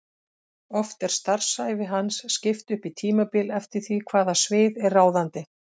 Oft er starfsævi hans skipt upp í tímabil eftir því hvaða svið er ráðandi.